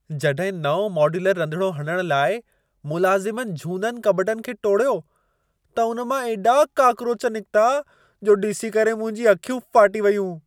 जॾहिं नओं मोड्यूलर रंधिणो हणण लाइ मुलाज़िमनि झूननि कॿटनि खे टोड़ियो, त उन मां एॾा काक्रोच निकिता, जो ॾिसी करे मुंहिंजूं अखियूं फाटी वयूं।